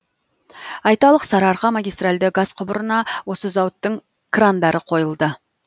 айталық сарыарқа магистральді газ құбырына осы зауыттың крандары қойылды